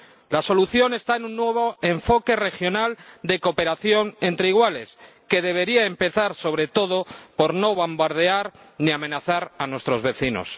La solución está en un nuevo enfoque regional de cooperación entre iguales, que debería empezar, sobre todo, por no bombardear ni amenazar a nuestros vecinos.